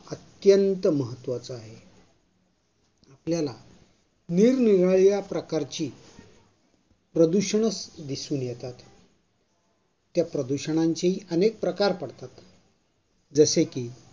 अत्यंत महत्वाच आहे. आपल्याला निरनिराळ्या प्रकारची प्रदूषणं दिसून येतात. त्या प्रदूषणांची अनेक प्रकार पडतात. जसे की